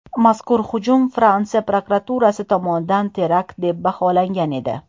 Mazkur hujum Fransiya prokuraturasi tomonidan terakt deb baholangan edi .